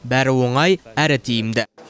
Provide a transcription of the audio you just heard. бәрі оңай әрі тиімді